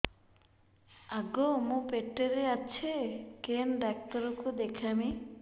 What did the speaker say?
ଆଗୋ ମୁଁ ପେଟରେ ଅଛେ କେନ୍ ଡାକ୍ତର କୁ ଦେଖାମି